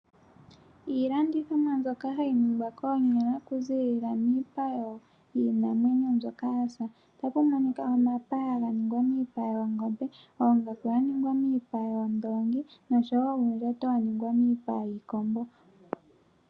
Iilandithomwa mbyoka hayi ningwa koonyala okuzilila miipa yiinamwenyo mbyoka ya sa. Otaku monika omapaya ga ningwa miipa yoongombe, oongaku dha ningwa miipa yoondoongi nosho wo uundjato wa ningwa miipa yiikombo.